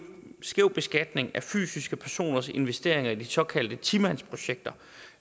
skæv beskatning af fysiske personers investeringer i de såkaldte ti mandsprojekter